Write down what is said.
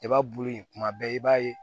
Kaba bulu in kuma bɛɛ i b'a ye